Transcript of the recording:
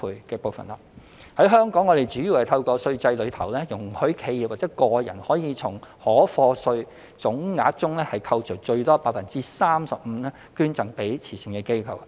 在香港，我們主要透過稅制中，容許企業或個人可從應課稅總額中扣除最多 35%， 捐贈給慈善機構。